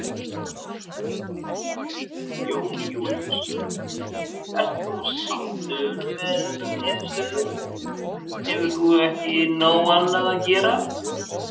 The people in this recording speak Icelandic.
Jón Júlíus: Ert þú sáttur með þessa niðurstöðu, hefur þú ekki nóg annað að gera?